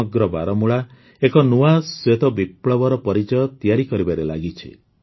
ସମଗ୍ର ବାରାମୂଳା ଏକ ନୂଆ ଶ୍ୱେତବିପ୍ଳବର ପରିଚୟ ତିଆରି କରିବାରେ ଲାଗିଛି